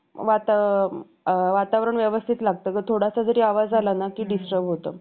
Cadillac गाडीतून त्याच्या beach हाऊसवर weekend साठी गेली आहे. जमीन~ जिमनं त्याच्यासोबत त्याच्या तीन मित्रांनाही नेलं. फक्त मल